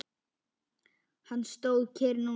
Hann stóð kyrr núna.